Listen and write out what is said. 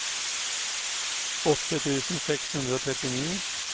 åtte tusen seks hundre og trettini